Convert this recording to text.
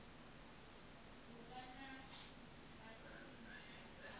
ga ge bouto e ka